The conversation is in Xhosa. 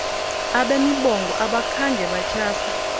abemibongo abakhange batyhafe